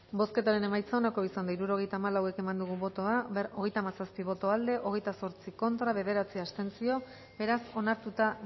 bozketaren emaitza onako izan da hirurogeita hamalau eman dugu bozka hogeita hamazazpi boto aldekoa hogeita zortzi contra bederatzi abstentzio beraz onartuta